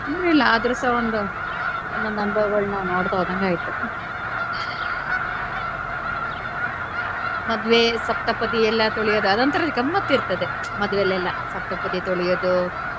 ತೊಂದ್ರೆ ಇಲ್ಲಾ ಆದ್ರು ಸಹ ಒಂದು ಒಂದೊಂದು ಅನುಭವಗಳನ್ನ ನಾವು ನೋಡ್ತಾ ಹೋದಂಗ ಆಯ್ತು ಮದುವೆ ಸಪ್ತಪದಿ ಎಲ್ಲ ತುಳಿಯೋದು ಅದೊಂತರ ಗಮ್ಮತ್ ಇರ್ತದೆ ಮದುವೆಲಿಯೆಲ್ಲ ಸಪ್ತಪದಿ ತುಳಿಯೋದು.